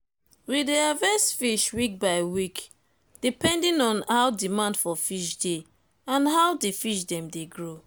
we dey harvest fish week by week d epending on how demand for fish dey and how the fish dem dey grow